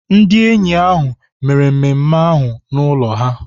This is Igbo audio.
Ndị enyi ahụ mere mmemme ahụ n'ụlọ ha.